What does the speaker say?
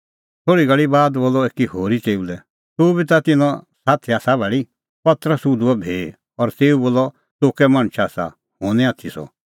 थोल़ी घल़ी बाद बोलअ एकी होरी तेऊ लै तुबी ता तिन्नों साथी आसा भाल़ी पतरस हुधूअ भी और तेऊ बोलअ तूह कै मणछ आसा हुंह निं आथी सह